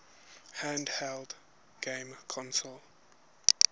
handheld game consoles